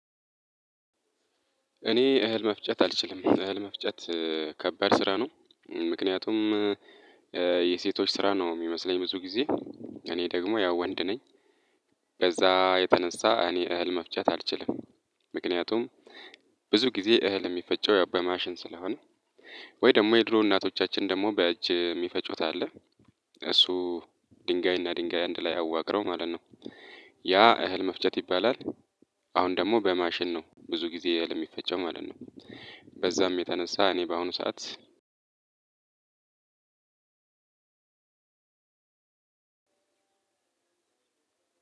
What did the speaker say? እኔ እህል መፍጨት አልችልም። እህል መፍጨት ከባድ ስራ ነው ምክንያቱም የሴቶች ስራ ነው የሚመስለኝ ብዙ ጊዜ። እኔ ደግሞ ያው ወንድ ነኝ። በዛ የተነሳ እኔ እህል መፍጨት አልችልም። ምክንያቱም ብዙ ጊዜ እህል የሚፈጨው ያው በማሽን ስለሆነ። ወይ ደግሞ የድሮ እናቶቻችን ደግሞ በእጅ የሚፈጩት አለ። እሱ ድንጋይ እና ድንጋይ አንድ ላይ አዋቅረው ማለት ነው። ያ እህል መፍጨት ይባላል። አሁን ደግሞ በማሽን ነው ብዙ ጊዜ እህል የሚፈጨው ማለት ነው። በዛም የተነሳ እኔ በአሁኑ ሰዓት አንድ